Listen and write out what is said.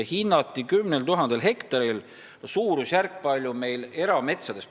Hinnati seda 10 000 hektaril.